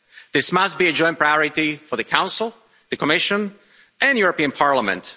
This must be a joint priority for the Council, Commission and European Parliament.